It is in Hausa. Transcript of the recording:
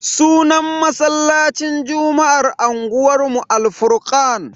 Sunan masallacin juma'ar unguwanmu Al-furkan.